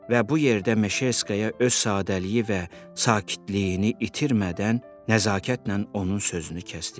Və bu yerdə Meşerskaya öz sadəliyi və sakitliyini itirmədən nəzakətlə onun sözünü kəsdi.